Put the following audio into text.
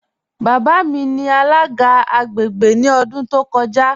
Baba mi ni alaga agbègbè ni ọ̀dún tó kọ́ja.